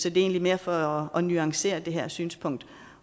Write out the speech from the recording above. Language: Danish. er egentlig mere for at nuancere det her synspunkt